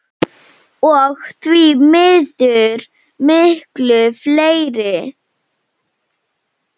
Og því miður miklu fleiri.